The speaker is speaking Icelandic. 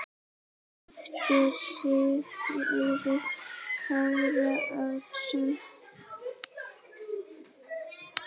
eftir Sigurð Kára Árnason